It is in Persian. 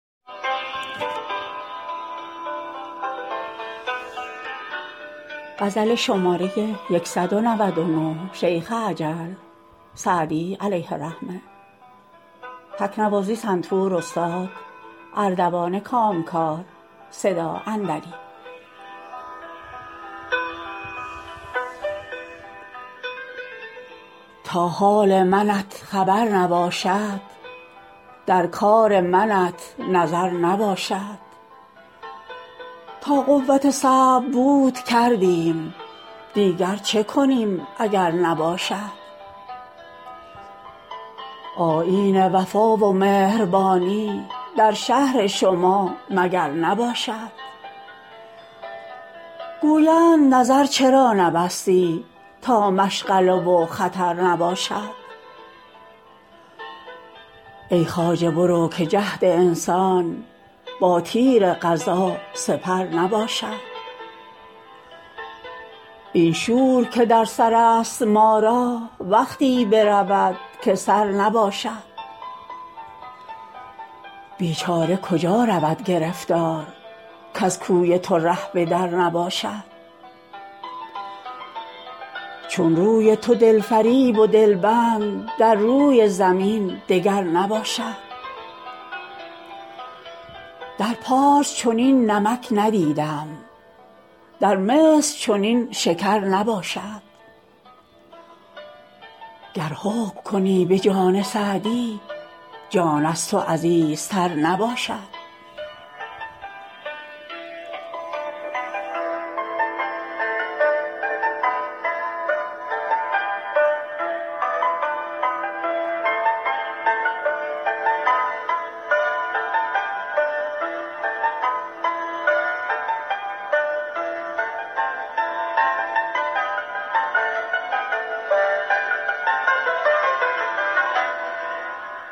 تا حال منت خبر نباشد در کار منت نظر نباشد تا قوت صبر بود کردیم دیگر چه کنیم اگر نباشد آیین وفا و مهربانی در شهر شما مگر نباشد گویند نظر چرا نبستی تا مشغله و خطر نباشد ای خواجه برو که جهد انسان با تیر قضا سپر نباشد این شور که در سر است ما را وقتی برود که سر نباشد بیچاره کجا رود گرفتار کز کوی تو ره به در نباشد چون روی تو دل فریب و دل بند در روی زمین دگر نباشد در پارس چنین نمک ندیدم در مصر چنین شکر نباشد گر حکم کنی به جان سعدی جان از تو عزیزتر نباشد